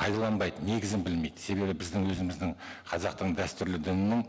пайдаланбайды негізін білмейді себебі біздің өзіміздің қазақтың дәстүрлі дінінің